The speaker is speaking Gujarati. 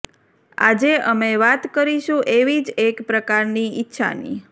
આજે અમે વાત કરીશું એવી જ એક પ્રકારની ઈચ્છાની